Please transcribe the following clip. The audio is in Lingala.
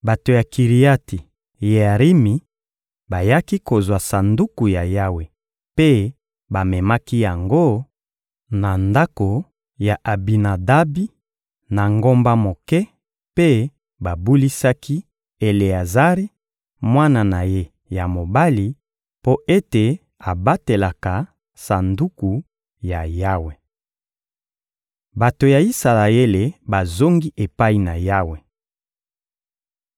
Bato ya Kiriati-Yearimi bayaki kozwa Sanduku ya Yawe mpe bamemaki yango na ndako ya Abinadabi, na ngomba moke; mpe babulisaki Eleazari, mwana na ye ya mobali, mpo ete abatelaka Sanduku ya Yawe. Bato ya Isalaele bazongi epai na Yawe